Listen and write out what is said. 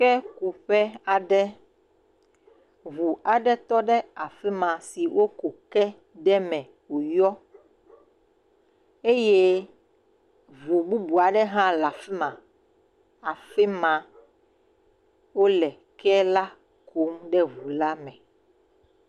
Kekuƒe aɖe, ʋu aɖe tɔɖe afima si woku ke ɖe eme woyɔ eye ʋu bubu aɖe ha le afima, afima wole kela kum de ʋula me.